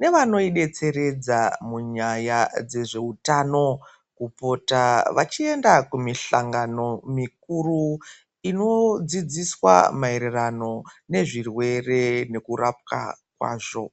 nevanoidetseredza munyaya dzezveutano, kupota vachienda kumihlangano mikuru inodzidziswa maererano nezvirwere nekurapwa kwazvo.